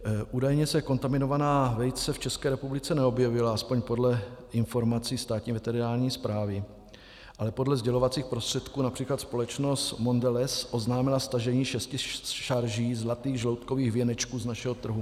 Údajně se kontaminovaná vejce v České republice neobjevila, aspoň podle informací Státní veterinární správy, ale podle sdělovacích prostředků například společnost Mondelez oznámila stažení šesti šarží zlatých žloutkových věnečků z našeho trhu.